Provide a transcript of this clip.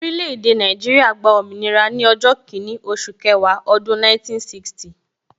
Orile-ede Naijiria gba òmìnira ni ọjọ́ kinni oṣù kẹwàá ọdún 1960